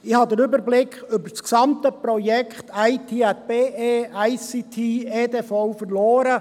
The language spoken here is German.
Ich habe den Überblick über das gesamte Projekt IT@BE, ICT und EDV verloren.